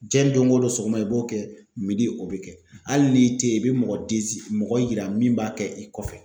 Diɲɛ don go don sɔgɔma i b'o kɛ o bɛ kɛ, hali ni tɛ yen i bɛ mɔgɔ mɔgɔ yira min b'a kɛ i kɔfɛ.